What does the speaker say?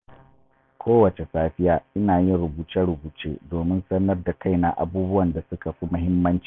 Kowace safiya, ina yin rubuce-rubuce domin sanar da kaina abubuwan da suka fi muhimmanci.